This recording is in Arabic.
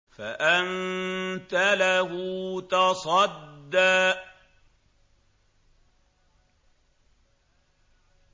فَأَنتَ لَهُ تَصَدَّىٰ